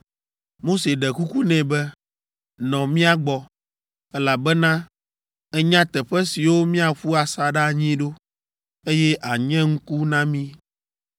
Mose ɖe kuku nɛ be, “Nɔ mía gbɔ, elabena ènya teƒe siwo míaƒu asaɖa anyi ɖo, eye ànye ŋku na mí.